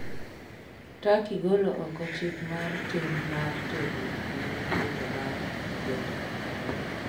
Turkey golo oko chik mar tim mar terruok ne nyithindo bang' kwedo